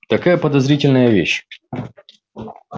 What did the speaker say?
такая подозрительная вещь